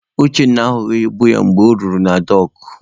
Uchenna ahụghị ibu ya mgbe o rutere na dọọkụ.